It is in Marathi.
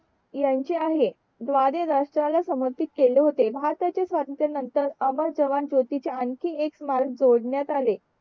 ह्यांचे आहे द्वारे राष्ट्र ला समर्पित केले होते भारताच्या स्वतंत्र नतंर अमर जवान ज्योतीचा आणि एक स्मारक जोडण्यात आले